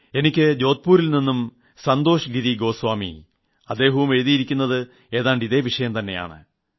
എനിക്ക് ജോധ്പൂരിൽ നിന്നും സന്തോഷ് ഗിരി ഗോസ്വാമി അദ്ദേഹവും എഴുതിയിരിക്കുന്നത് ഏതാണ്ട് ഇതേ വിഷയം തെന്നയാണ്